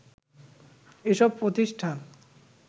এসব প্রতিষ্ঠান